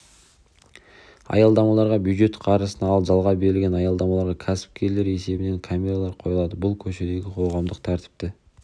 аялдамаларға бюджет қаржысына ал жалға берілген аялдамаларға кәсіпкерлер есебінен камералар қойылады бұл көшедегі қоғамдық тәртіпті